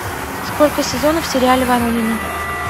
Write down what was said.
сколько сезонов в сериале воронины